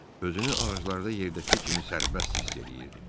Özünü ağaclar da yerdəki kimi sərbəst hiss eləyirdi.